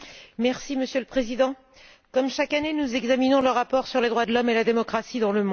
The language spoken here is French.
Monsieur le Président, comme chaque année, nous examinons le rapport sur les droits de l'homme et la démocratie dans le monde.